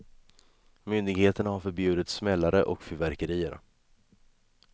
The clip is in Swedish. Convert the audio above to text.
Myndigheterna har förbjudit smällare och fyrverkerier.